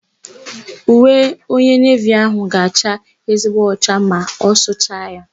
Uwe onye nevi áhụ̀ ga-acha ezigbo ọcha ma a sụcha ya.